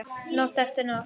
Nótt eftir nótt.